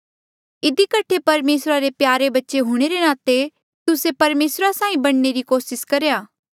इधी कठे परमेसरा रे प्यारे बच्चे हूणे रे नाते तुस्से परमेसरा साहीं बणने री कोसिस करा